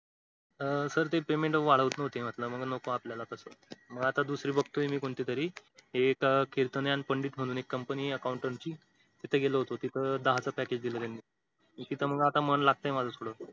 अं sir ते payment वाढवत न्हवते मग म्हंटल नको आपल्याला तसं मग आता दुसरी बघतोय मी कोणती तरी. एक कीर्तने आणि पंडित म्हणून company आहे accountant ची तिथं गेलो होतो तिथं दहा च package दिलं त्यांनी तिथं मग आता मन लागतंय माझं थोडं.